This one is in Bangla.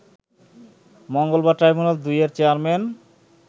মঙ্গলবার ট্রাইব্যুনাল-২ এর চেয়ারম্যান